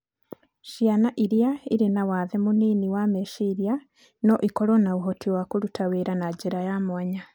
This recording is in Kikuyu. Ciana iria irĩ na wathe mũnini wa meciria no ikorũo na ũhoti wa kũruta wĩra na njĩra ya mwanya.